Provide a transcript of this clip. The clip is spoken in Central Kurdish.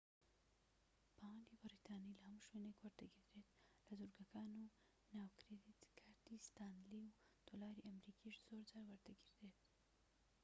پاوەندی بەریتانی لە هەموو شوێنێك وەردەگیردرێت لە دورگەکان و ناو کرێدت کارتی ستانلی و دۆلاری ئەمریکیش زۆرجار وەردەگیردرێت